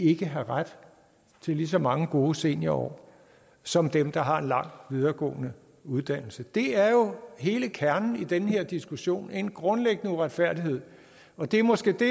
ikke have ret til lige så mange gode seniorår som dem der har en lang videregående uddannelse det er hele kernen i den her diskussion en grundlæggende uretfærdighed og det er måske det